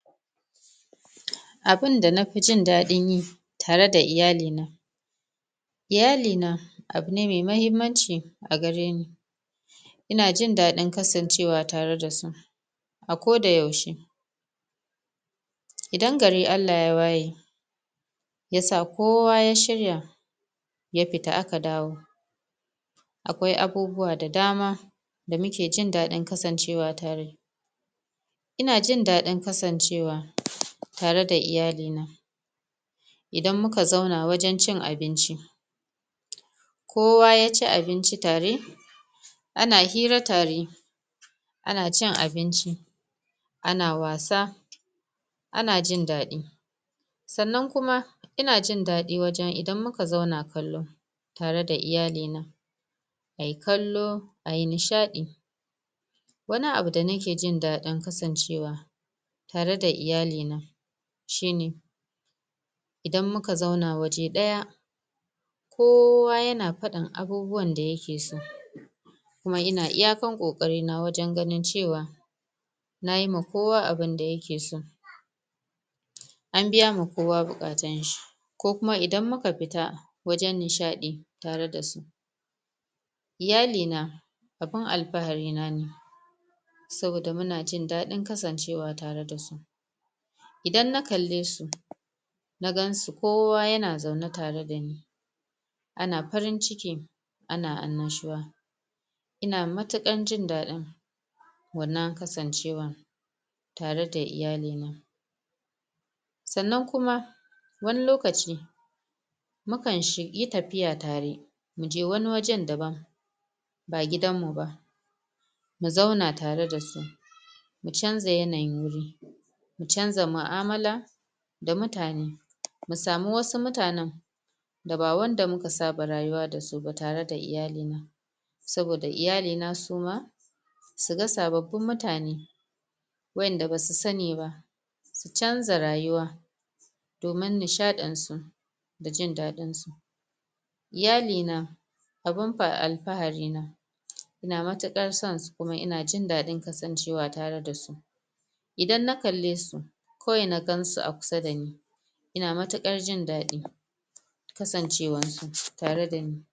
Abunda na fi jindadin yi tare da iyali na iyali na, abu ne mai mahimmanci a gare ni ina jin dadin kasancewa tare da su a ko da yaushe idan gari Allah ya waye ya sa kowa ya shirya, ya fita aka dawo akwai abubuwa da dama da mu ke jindadin kasancewa tare ina jin dadin kasancewa tare da iyali na idan mu ka zauna wajen cin abinci kowa ya ci abinci tare ana hirra tare ana cin abinci, ana wasa ana jindadi tsannan kuma, ina jindadi wajen, idan mu ka zauna kallo tare da iyali na. A yi kallo, ayi nishadi wani abu da na ke jindadin kasancewa tare da iyali na shi ne idan mu ka zauna waje daya kowa ya na fadan abubuwan da ya ke so kuma ina iyakan kokari na wajen ganin cewa na yi ma kowa abunda ya ke so an biya ma kowa bukatan shi ko kuma idan muka fita, wajen nishadi, tare da su iyali na, abun alfaari na ne saboda mu na jin dadin kasancewa tare da su idan na kalle su na gan su kowa ya na zaune tare da ni ana farinciki, ana alnashua ina matukar jindadi wannan kasancewatare da iyali na. Tsannan kuma, wani lokaci mu kan shi yi tafiya tare, mu je wani wajen daban ba didan mu ba mu zauna tare da su mu canza yanayin wuri mu canza maalmala da mutane, mu samu wasu mutanen da ba wanda mu ka saba rayuwa da su ba tare da iyali na saoda iyali na su ma su ga sabobin mutane wayanda ba su sani ba, su canza rayuwa domin nishadin su, da jin dadin su Iyali na, abun pa alpaari na ina matukar san su kuma ina jindadin kasancewa tare da su idan na kalle su, kawai na gan su a kusa da ni ina matukar jindadi kasancewar su tare da ni.